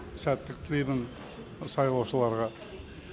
сәттілік тілеймін сайлаушыларға